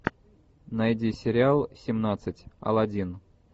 найди сериал семнадцать аладдин